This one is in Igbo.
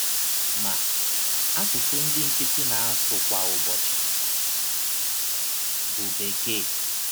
Ma, asụsụ ndị nkịtị na - asụ kwa ụbọchị bụ Bekee.